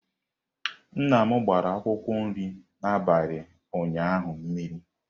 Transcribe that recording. Nnam gbara akwụkwọ nri n'abalị ụnyaahụ mmiri.